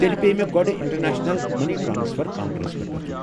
تیٚلہِ پیٚیہ مےٚ گۄڑٕ انٹرنیشنل مٔنی ٹرٛانسفر کونٛٹرس پٮ۪ٹھ گژھُن؟